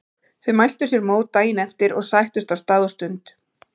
Þau mæltu sér mót daginn eftir og sættust á stað og stund.